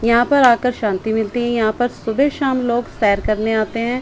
यहां पर आकर शांति मिलती हैं यहां पर सुबह शाम लोग सेर करने आते है।